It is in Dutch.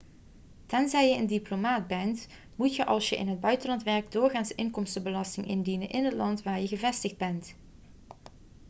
tenzij je een diplomaat bent moet je als je in het buitenland werkt doorgaans inkomstenbelasting indienen in het land waar je gevestigd bent